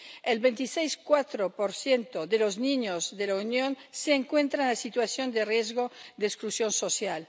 El 26,4 de los niños de la Unión se encuentra en situación de riesgo de exclusión social.